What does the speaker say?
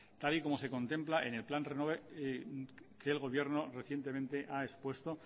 tal y como se contempla en el plan renove que el gobierno recientemente ha expuesto